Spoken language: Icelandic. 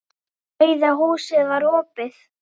Rauða húsið var opið.